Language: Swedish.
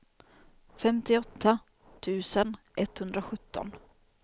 femtioåtta tusen etthundrasjutton